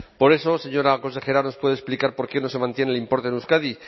por eso señora consejera nos puede explicar por qué no se mantiene el importe en euskadi